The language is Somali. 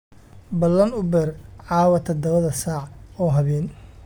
ballan uber caawa tadhawa saac oo haben